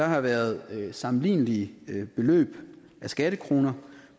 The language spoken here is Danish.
har været sammenlignelige beløb af skattekroner